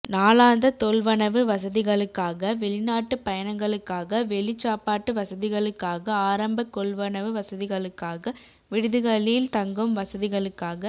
நாளாந்த தொள்வனவு வசதிகளுக்காக வெளிநாட்டுப் பயணங்களுக்காக வெளிச் சாப்பாட்டு வசதிகளுக்காக ஆரம்பர கொள்வனவு வசதிகளுக்காக விடுதிகளில் தங்கும் வசதிகளுக்காக